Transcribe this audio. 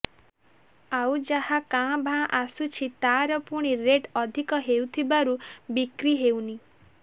ଆଉ ଯାହା କାଁ ଭାଁ ଆସୁଛି ତାର ପୁଣି ରେଟ୍ ଅଧିକ ହେଉଥିବାରୁ ବିକ୍ରି ହେଉନି